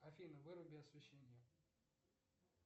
афина выруби освещение